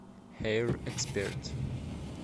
хэир эксперт